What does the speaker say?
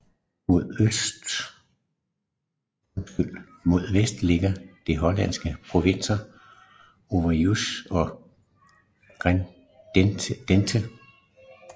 Mod vest ligger de hollandske provinser Overijssel og Drenthe